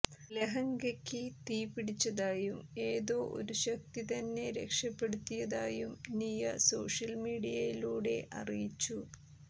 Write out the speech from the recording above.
ലഹങ്കക്ക് തീ പിടിച്ചതായും ഏതോ ഒരു ശക്തി തന്നെ രക്ഷപ്പെടുത്തിയതായും നിയ സോഷ്യല് മീഡിയയിലൂടെ അറിയിച്ചു